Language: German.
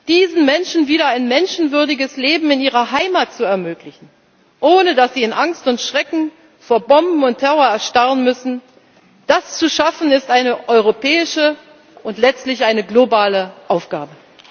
Diesen Menschen wieder ein menschenwürdiges Leben in ihrer Heimat zu ermöglichen, ohne dass sie in Angst und Schrecken vor Bomben und Terror erstarren müssen Das zu schaffen, ist eine europäische und letztlich eine globale Aufgabe.